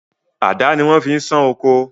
Àdá ni wọ́n fi ń sán oko.